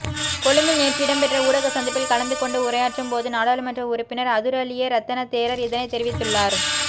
கொழும்பில் நேற்று இடம்பெற்ற ஊடக சந்திப்பில் கலந்துகொண்டு உரையாற்றும்போது நாடாளுமன்ற உறுப்பினர் அதுரலியே ரத்தன தேரர் இதனை தெரிவித்துள்ளார்